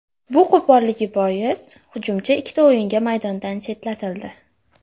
Bu qo‘polligi bois hujumchi ikkita o‘yinga maydondan chetlatildi.